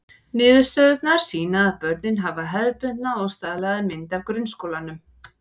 Niðurstöðurnar sýna að börnin hafa hefðbundna og staðlaða mynd af grunnskólanum.